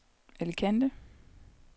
Alicante